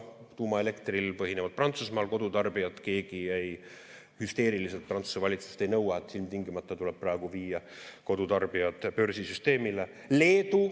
Tuumaelektril põhineval Prantsusmaal keegi hüsteeriliselt Prantsuse valitsuselt ei nõua, et ilmtingimata tuleb praegu viia kodutarbijad börsisüsteemile.